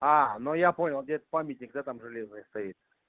но я понял где этот памятник да там железный стоит